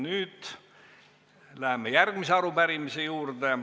Nüüd läheme järgmise arupärimise juurde.